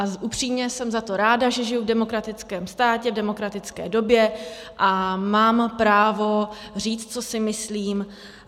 A upřímně jsem za to ráda, že žiji v demokratickém státě, v demokratické době a mám právo říct, co si myslím.